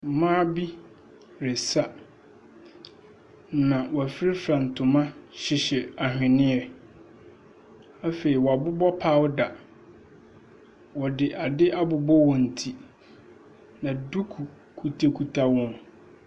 Mmaa bi resa, na w'afra fra ntoma, hyehyɛ ahweneɛ. Afei w'abobɔ pawda, wɔde ade abobɔ wɔn ti. Na duku kita kita wɔn.